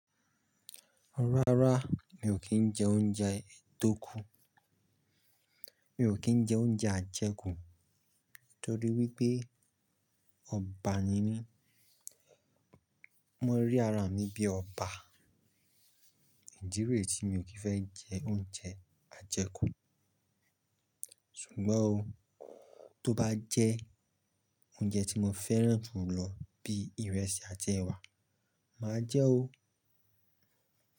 Rárá mi ò kí ń jẹ oúnjẹ tó kù. Mi ò kí ń jẹ oúnjẹ ajẹkù torí wípé ọba ni mí, wón rí ara mi bí ọba ìdí rẹ tí mi ò kí fẹ́ jẹ oúnjẹ ajẹkù. Ṣùgbọ́n ó tó bá jẹ́ oúnjẹ tí mo fẹ́ràn jù lọ bí ìrẹsì àti ẹ̀wà, máa jẹ́ o.